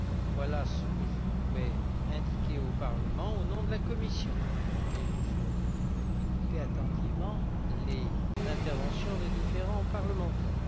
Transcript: Voilà ce que je pouvais indiquer au Parlement au nom de la Commission et je vais écouter attentivement les interventions des différents parlementaires.